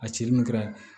A cili min kɛra